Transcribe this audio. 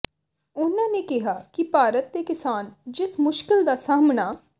ਉਨ੍ਹਾਂ ਨੇ ਕਿਹਾ ਕਿ ਭਾਰਤ ਦੇ ਕਿਸਾਨ ਜਿਸ ਮੁਸ਼ਕਿਲ ਦਾ ਸਾਹਮਣਾ